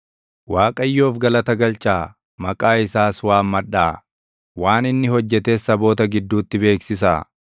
Waaqayyoof galata galchaa; maqaa isaas waammadhaa; waan inni hojjetes saboota gidduutti beeksisaa.